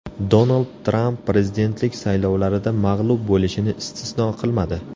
Donald Tramp prezidentlik saylovlarida mag‘lub bo‘lishini istisno qilmadi.